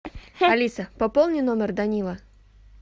алиса пополни номер данила